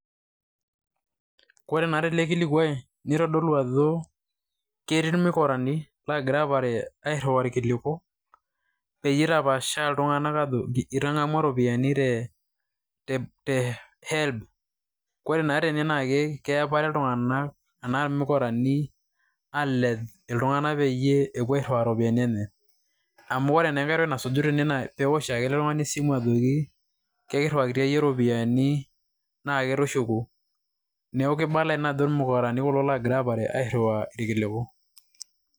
Kore naa telee nkilikoi nitodolu ajo ketii mukuranii laagira aparee airiu nkiliko, penye etapaasha iltung'anak ajo itang'amua ropiani te, te, te HELB. Kore naa tenee naa keapare iltung'ani anaa mukurani aleeng iltung'anak pee epoiye airuaya ropiani enyenye. Amu kore naa pee etai nasuuji tene naa eosho ake ele iltung'ani simu ejoki ekiruakiti enye ropiani neeku tishukuu. Naa keebala ena ajo mukurani kuloo ogiraa apaare aruaya nkilikuu.